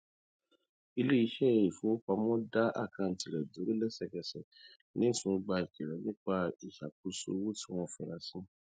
iléiṣẹ ìfowopamọ dá àkántì rẹ dúró lẹsẹkẹsẹ lẹyìn tí wọn gba ìkìlọ nípa ìṣàkóso owó tí wọn fura sí